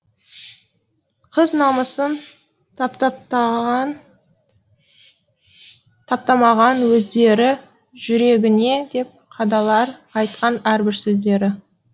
қыз намысын таптатпаған таптамаған өздері жүрегіне де қадалар айтқан әрбір сөздері